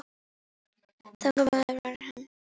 Þannig maður var hann.